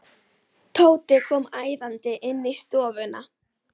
Tóti kom æðandi inn í stofuna.